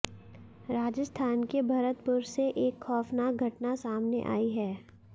राजस्थान के भरतपुर से एक खाैफनाक घटना सामने आई है